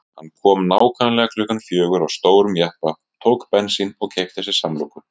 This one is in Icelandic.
Hann kom nákvæmlega klukkan fjögur á stórum jeppa, tók bensín og keypti sér samloku.